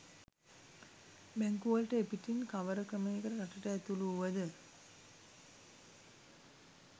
බැංකුවලට එපිටින් කවර ක්‍රමයකට රටට ඇතුළු වුවද